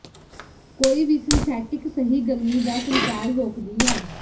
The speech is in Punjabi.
ਕੋਈ ਵੀ ਸਿੰਥੈਟਿਕ ਸਹੀ ਗਰਮੀ ਦਾ ਸੰਚਾਰ ਰੋਕਦੀ ਹੈ